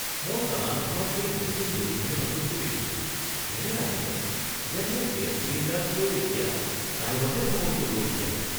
মই চালানখনত এই নতুন ডেলিভাৰী মাচুলটো দেখিলোঁ। এনে লাগিছে যেন মোৰ গেছ চিলিণ্ডাৰটোৱেও এতিয়া ষ্টাইলতহে ভ্ৰমণ কৰিব বিচাৰে!